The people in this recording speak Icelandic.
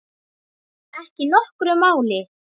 Ekki nokkru máli.